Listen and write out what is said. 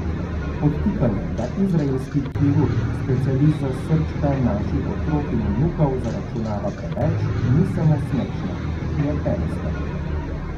Podtikanje, da izraelski kirurg, specialist za srčka naših otrok in vnukov, zaračunava preveč, ni samo smešno, je bedasto.